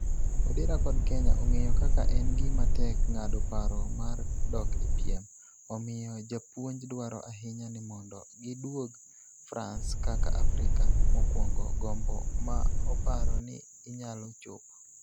Odera kod Kenya ong'eyo kaka en gima tek ng'ado paro mar dok e piem, omiyo, japuonj dwaro ahinya ni mondo giduog France kaka Afrika mokwongo, gombo ma oparo ni inyalo chopo.